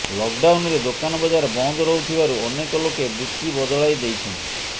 ଲକଡାଉନରେ ଦୋକାନ ବଜାର ବନ୍ଦ ରହୁଥିବାରୁ ଅନେକ ଲୋକେ ବୃତ୍ତି ବଦଳାଇଦେଇଛନ୍ତି